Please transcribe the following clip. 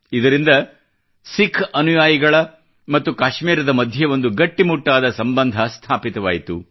ಇದರಿಂದ ಸಿಖ್ ಅನುಯಾಯಿಗಳ ಮತ್ತು ಕಾಶ್ಮೀರದ ಮಧ್ಯೆ ಒಂದು ಗಟ್ಟಿಮುಟ್ಟಾದ ಸಂಬಂಧ ಸ್ಥಾಪಿತವಾಯಿತು